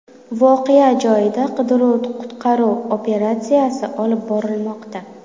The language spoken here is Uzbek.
Voqea joyida qidiruv-qutqaruv operatsiyasi olib borilmoqda.